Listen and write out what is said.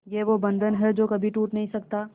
ये वो बंधन है जो कभी टूट नही सकता